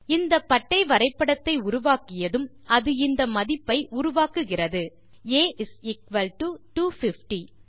இந்த பட்டை வரைபடத்தை உருவாக்கியதும் அது இந்த மதிப்பை உருவாக்குகிறது a250